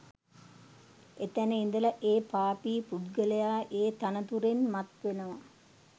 එතැන ඉඳලා ඒ පාපී පුද්ගලයා ඒ තනතුරෙන් මත් වෙනවා